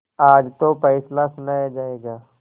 आज तो फैसला सुनाया जायगा